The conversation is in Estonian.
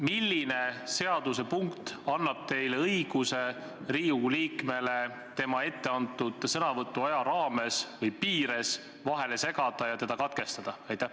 Milline seaduse punkt annab teile õiguse Riigikogu liikmele tema ette antud sõnavõtuaja piires vahele segada ja teda katkestada?